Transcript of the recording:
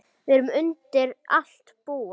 Við erum undir allt búin.